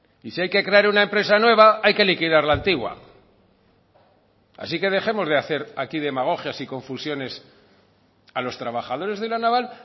y si hay que crear una empresa nueva hay que liquidar la antigua así que dejemos de hacer aquí demagogias y confusiones a los trabajadores de la naval